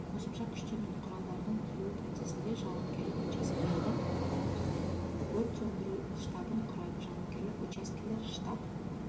қосымша күштер мен құралдардың келу процесінде жауынгерлік учаскелерді анықтайды өрт сөндіру штабын құрады жауынгерлік учаскелер штаб